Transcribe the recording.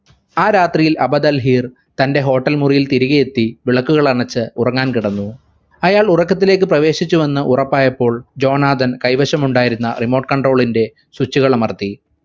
ആ രാത്രി അബദൽ ഹീർ തന്റെ hotel മുറിയിൽ തിരികെയെത്തി വിളക്കുകൾ അണച്ച് ഉറങ്ങാൻ കിടന്നു അയാൾ ഉറക്കത്തിലേക്ക് പ്രവേശിച്ചു എന്ന് ഉറപ്പായപ്പോൾ ജോൺ ആദം കൈവശമുണ്ടായിരുന്ന remote control ന്റെ switch കൾ അമർത്തി